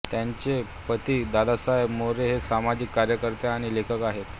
त्यांचे पती दादासाहेब मोरे हे सामाजिक कार्यकर्ते आणि लेखक आहेत